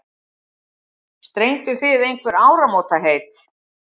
Strengduð þið einhver áramótaheit?